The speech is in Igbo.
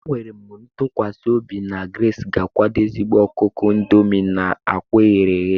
Enwere m ntụkwasị obi na Grace ga-akwado ezigbo ọkụkọ indomie na akwa eghere eghe.